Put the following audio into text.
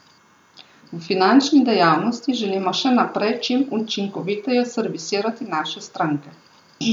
V finančni dejavnosti želimo še naprej čim učinkoviteje servisirati naše stranke.